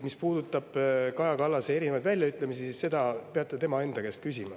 Mis puudutab Kaja Kallase väljaütlemisi, siis nende kohta peate tema enda käest küsima.